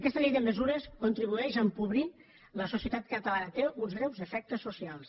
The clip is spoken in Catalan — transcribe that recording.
aquesta llei de mesures contribueix a empobrir la societat catalana té uns greus defectes socials